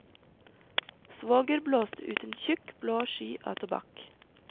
Svoger blåste ut en tjukk blå sky av tobakk.